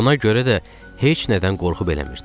Buna görə də heç nədən qorxu bilmirdi.